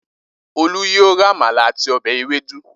Olú yóò ra àmàlà àti ọbẹ̀ ewédú.